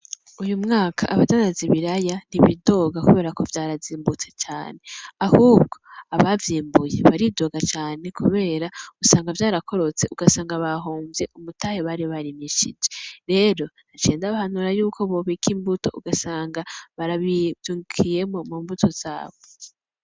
Uyu mwaka abadandaza ibiraya ntibidogo kubera ko vyarazimbutse cane. Ahubwo abavyimbuye baridoga cane kubera usanga vyarakorotse ugasanga bahomvye umutahe bari barimishije. Rero naciye ndabahanura yuko bobika imbuto ugasanga baravyungukiyemo mu mbuto zabo.